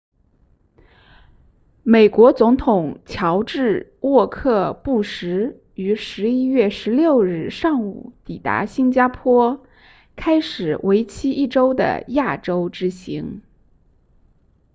美国总统乔治沃克布什于11月16日上午抵达新加坡开始为期一周的亚洲之行